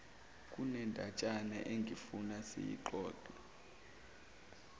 kunendatshana engifuna siyixoxe